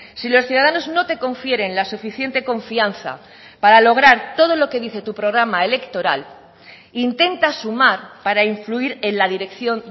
si los ciudadanos no te confieren la suficiente confianza para lograr todo lo que dice tu programa electoral intenta sumar para influir en la dirección